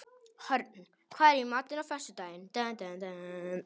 Hörn, hvað er í matinn á föstudaginn?